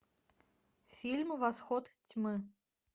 фильм восход тьмы